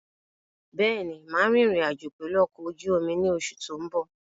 Bẹ́ẹ̀ni, máa rìn ìrìn-àjò pẹ̀lu ọkọ̀ ojú omi ni oṣù tó ń bọ̀.